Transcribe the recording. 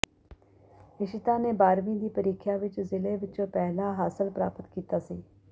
ਇਸ਼ੀਤਾ ਨੇ ਬਾਰ੍ਹਵੀਂ ਦੀ ਪ੍ਰੀਖਿਆ ਵਿਚ ਜ਼ਿਲ੍ਹੇ ਵਿਚੋਂ ਪਹਿਲਾ ਹਾਸਲ ਪ੍ਰਾਪਤ ਕੀਤਾ ਸੀ